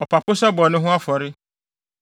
ɔpapo sɛ bɔne ho afɔre;